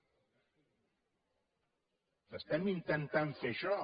estem intentant fer això